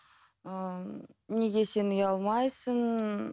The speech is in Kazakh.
ыыы неге сен ұялмайсың